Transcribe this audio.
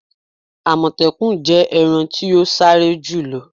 Àmọ̀tẹ́kùn jẹ́ ẹranko ti o sáré jùlo.